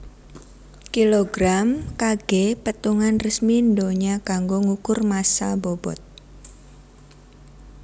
Kilogram Kg petungan resmi ndonya kanggo ngukur massa bobot